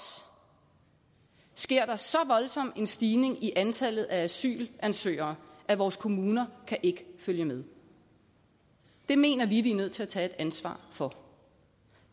sker der så voldsom en stigning i antallet af asylansøgere at vores kommuner ikke kan følge med det mener vi at man er nødt til at tage et ansvar for